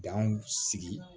Danw sigi